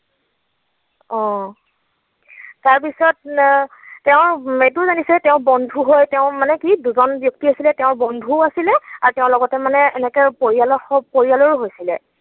অ। তাৰপিছত তেওঁ, এইটো জানিছে তেওৰ বন্ধু হয়, তেওঁৰ মানে কি দুজন ব্যক্তি আছিলে তেওঁৰ বন্ধু আছিলে আৰু তেওঁৰ লগতে মানে এনেকৈ পৰিয়ালৰ, পৰিয়ালো হৈছিলে।